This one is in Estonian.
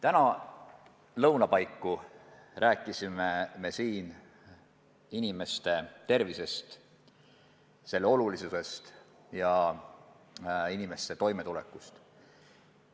Täna lõuna paiku rääkisime siin inimeste tervisest, selle olulisusest, ja inimeste toimetulekust.